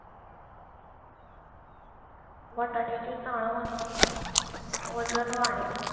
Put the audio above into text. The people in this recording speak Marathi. बटाट्या ची चाळ वूं कां वजन वाढेल.